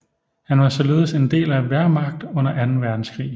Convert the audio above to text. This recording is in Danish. Han var således en del af Wehrmacht under anden verdenskrig